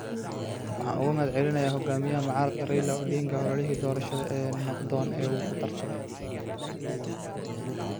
“Waxaan uga mahadcelinayaa hogaamiyaha mucaaradka Raila Odinga ololihii doorashada ee nabdoon ee uu ku tartamay.